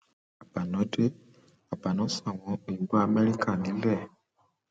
agbanah dé àgbààná sáwọn òyìnbó amẹríkà nílẹ